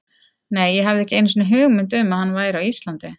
Nei, ég hafði ekki einu sinni hugmynd um að hann væri á Íslandi.